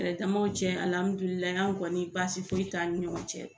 Yɛrɛdamaw cɛ an kɔni baasi foyi t'an ni ɲɔgɔn cɛ